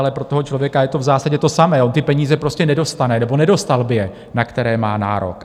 Ale pro toho člověka je to v zásadě to samé, on ty peníze prostě nedostane, nebo nedostal by je, na které má nárok.